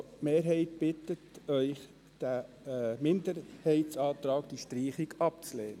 Die Mehrheit bittet Sie, den Minderheitsantrag auf Streichung abzulehnen.